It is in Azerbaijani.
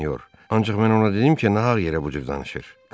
Ancaq mən ona dedim ki, nahaq yerə bu cür danışır.